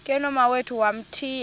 ke nomawethu wamthiya